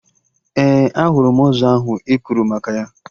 Ee, ahụrụ m ọzọ ahụ ị kwuru maka ya